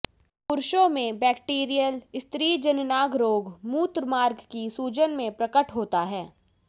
पुरुषों में बैक्टीरियल स्त्रीजननांग रोग मूत्रमार्ग की सूजन के प्रकट होता है